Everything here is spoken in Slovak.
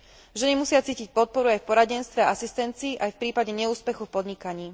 Ženy musia cítiť podporu aj v poradenstve a asistencii aj v prípade neúspechu v podnikaní.